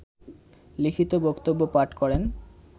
লিখিত বক্তব্য পাঠ করেন